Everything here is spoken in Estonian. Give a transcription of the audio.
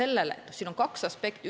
Lisaks on siin kaks aspekti.